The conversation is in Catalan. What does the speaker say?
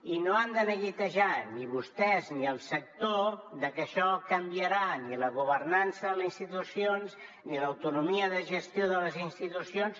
i no s’han de neguitejar ni vostès ni el sector de que això canviarà ni la governança a les institucions ni l’autonomia de gestió de les institucions